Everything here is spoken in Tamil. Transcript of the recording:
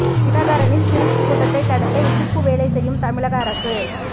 தினகரனின் திருச்சி கூட்டத்தை தடுக்க இடிப்பு வேலை செய்யும் தமிழக அரசு